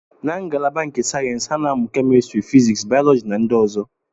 Na ngalaba nke sayensị, ha na-amụ kemistri, physics, bayoloji na ndị ọzọ